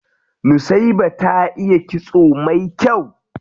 Nusaiba ta iya kitso mai kyau.